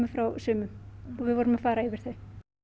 frá sumum og við vorum að fara yfir þau